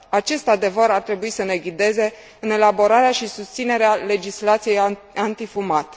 Acest adevăr ar trebui să ne ghideze în elaborarea și susținerea legislației antifumat.